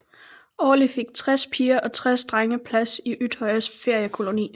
Årligt fik tres piger og tres drenge plads i Utøyas feriekoloni